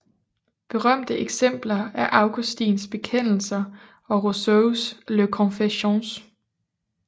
Berømte eksempler er Augustins bekendelser og Rousseaus Les Confessions